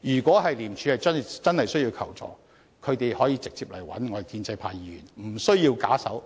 如果廉署真的需要求助，他們可以直接與建制派議員聯絡，不需要假手